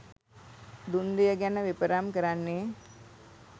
දුන් දෙය ගැන විපරම් කරන්නේ